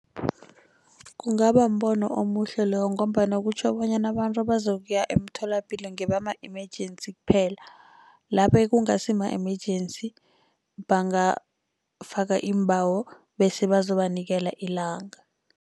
Kungaba mbono omuhle loyo, ngombana kutjho bonyana abantu abazokuya emtholapilo ngebama emergency kuphela. Laba ekungasi ma-emergency bangafaka iimbawo bese bazobanikela ilanga.